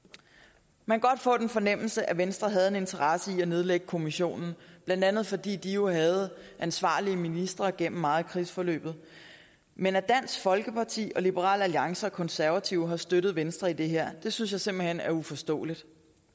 man kan godt få den fornemmelse at venstre havde en interesse i at nedlægge kommissionen blandt andet fordi de jo havde ansvarlige ministre gennem meget af krigsforløbet men at dansk folkeparti liberal alliance og konservative har støttet venstre i det her synes jeg simpelt hen er uforståeligt